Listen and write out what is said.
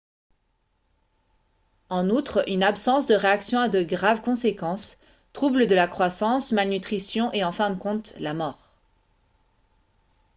en outre une absence de réaction a de graves conséquences troubles de la croissance malnutrition et en fin de compte la mort